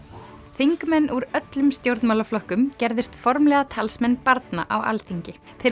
þingmenn úr öllum stjórnmálaflokkum gerðust formlega talsmenn barna á Alþingi þeir